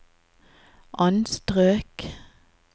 anstrøk